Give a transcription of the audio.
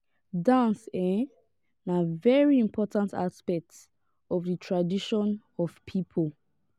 dance um na very important aspect of di tradition of people